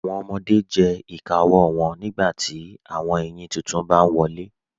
Awọn ọmọde le jẹ ìkà ọwọ wọn nígbàtí awọn èyin títún bá n wọlé.